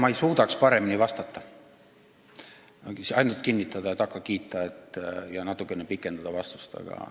Ma ei suudaks paremini vastata kui ainult neid sõnu kinnitada ja takka kiita ning ehk natukene vastust pikendada.